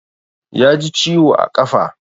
Ya ji ciwo a ƙafa